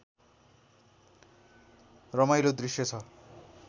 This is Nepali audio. रमाइलो दृश्य छ